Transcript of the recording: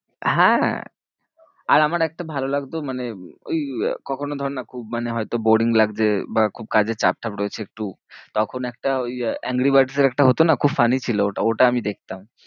হ্যাঁ আর আমার একটা ভালো লাগতো মানে ওই কখনও ধর না খুব মানে হয়তো boaring লাগছে বা খুব কাজের চাপ টাপ রয়েছে একটু তখন একটা ওই আহ এংরি বার্ডসের একটা হতো না খুব funny ছিল ওটাও, ওটা আমি দেখতাম।